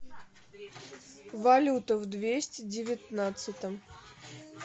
валюта в двести девятнадцатом